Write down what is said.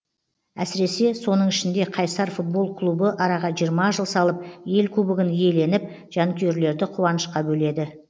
әсіресе соның ішінде қайсар футбол клубы араға жиырма жыл салып ел кубогын иеленіп жанкүйерлерді қуанышқа бөледі